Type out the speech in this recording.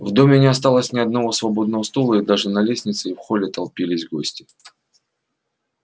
в доме не осталось ни одного свободного стула и даже на лестнице и в холле толпились гости